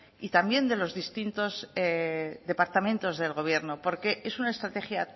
y también de los distintos departamentos del gobierno porque es una estrategia